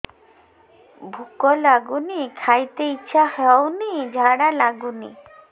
ଭୁକ ଲାଗୁନି ଖାଇତେ ଇଛା ହଉନି ଝାଡ଼ା ଲାଗୁନି